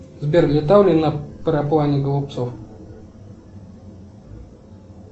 сбер летал ли на параплане голубцов